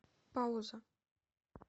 пауза